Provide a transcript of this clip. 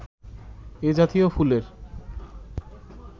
এ জাতীয় ফুলের